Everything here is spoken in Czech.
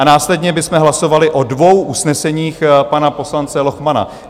A následně bychom hlasovali o dvou usneseních pana poslance Lochmana.